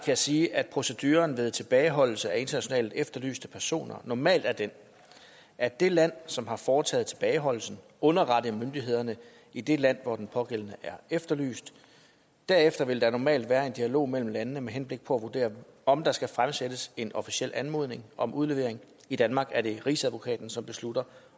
jeg sige at proceduren ved tilbageholdelse af internationalt efterlyste personer normalt er den at det land som har foretaget tilbageholdelsen underretter myndighederne i det land hvor den pågældende er efterlyst derefter vil der normalt være en dialog mellem landene med henblik på at vurdere om der skal fremsættes en officiel anmodning om udlevering i danmark er det rigsadvokaten som beslutter